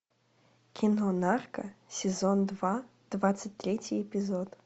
кино нарко сезон два двадцать третий эпизод